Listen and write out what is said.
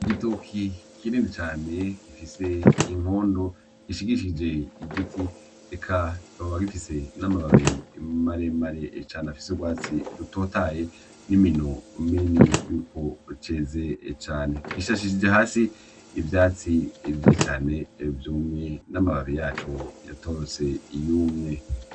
Igitoki kinini cane gifise inkondo gishigishije igiti eka kikaba gifise n'amababi maremare cane afise urwatsi rutotaye n'imino minini yuko ruceze cane, gisashishije hasi ivyatsi vyeze cane vyumwe n'amababi yaco yatose yumye.